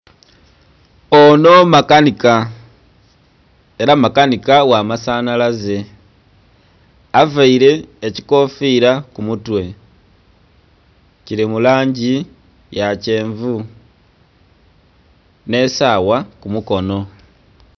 Ono makanhika era makanhika gha masanhalze avaire ekikofira ku mutwe kili mu langi ya kyenvu nhe saawa ku mukonho.